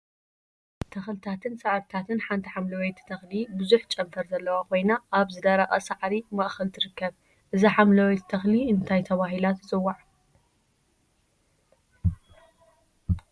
ተክሊታትን ሳዕሪታትን ሓንቲ ሓምለወይቲ ተክሊ ብዙሕ ጨንፈር ዘለዋ ኮይና አብ ዝደረቀ ሳዕሪ ማእከል ትርከብ፡፡ እዛ ሓምለወይቲ ተክሊ እንታይ ተባሂላ ትፅዋዕ?